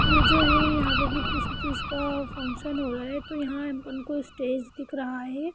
यह जो है यहा किसी चीज का फंक्शन हो रहा है तो यहा हमको स्टेज दिख रहा है।